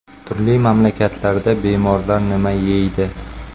Turli mamlakatlarda bemorlar nima yeydi?.